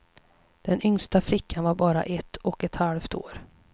Den yngsta flickan var bara ett och ett halvt år.